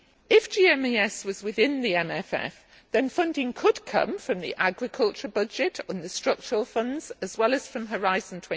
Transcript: If GMES was within the MFF then funding could come from the agriculture budget and the structural funds, as well as from Horizon